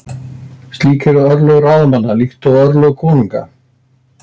Slík eru örlög ráðamanna- slík eru örlög konunga.